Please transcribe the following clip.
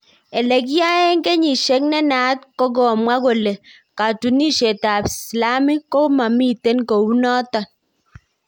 Ele kiyaeng kesishek ne naat ko kamwa kole katunishet ap slamik ko mamiten kou naton